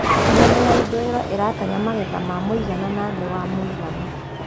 Miena ya ithũĩro ĩratanya magetha ma muigana na thĩ wa mũigana